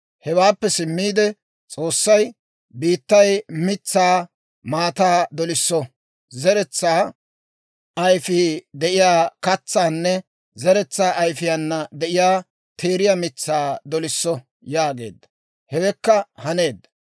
Hewaappe simmiide S'oossay, «Biittay mitsaa maataa dolisso; zeretsaa ayfii de'iyaa katsaanne zeretsaa ayfiyaana de'iyaa teeriyaa mitsaa dolisso» yaageedda; hewekka haneedda.